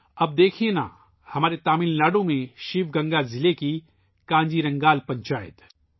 اب دیکھئے نا ، ہمارے تمل ناڈو میں شیو گنگا ضلع کی کانجی رنگال پنچایت